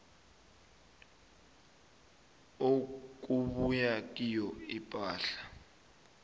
okubuya kiyo ipahla